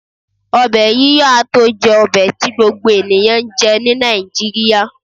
obe yiyo a to je obe ti gbogbo eniyan njé ni Naijiria